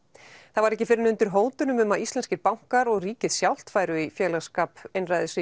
það var ekki fyrr en undir hótunum um að íslenskir bankar og ríkið sjálft færu í félagsskap